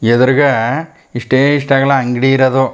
ಎದ್ರಗ್ ಇಷ್ಟೇ ಇಷ್ಟ ಅಗ್ಲಾ ಅಂಗಡಿ ಇರೋದು.